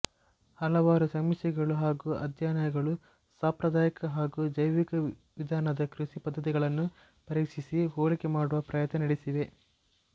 ಹಲವಾರು ಸಮೀಕ್ಷೆಗಳು ಹಾಗು ಅಧ್ಯಯನಗಳು ಸಾಂಪ್ರದಾಯಿಕ ಹಾಗು ಜೈವಿಕ ವಿಧಾನದ ಕೃಷಿ ಪದ್ಧತಿಗಳನ್ನು ಪರೀಕ್ಷಿಸಿ ಹೋಲಿಕೆ ಮಾಡುವ ಪ್ರಯತ್ನ ನಡೆಸಿವೆ